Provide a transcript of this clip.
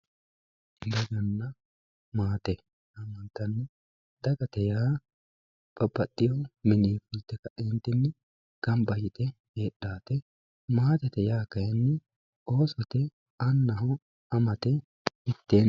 daganna maate yaamantanno dagate yaa babbaxino mininni fulte kaeentinni gamba yite heedhate maatete yaa kayiinni oosote amate annaho mitteenni.